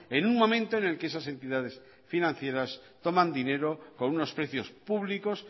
en un momento en el que esas entidades financieras toman dinero con unos precios públicos